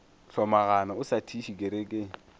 hlomagana o sa thiše kerekeng